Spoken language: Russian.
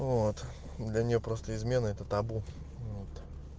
вот да не просто измены это табу вот